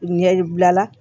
Ɲɛ yibila